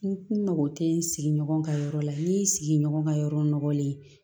N mago tɛ n sigi ɲɔgɔn ka yɔrɔ la n y'i sigi ɲɔgɔn ka yɔrɔ nɔgɔlen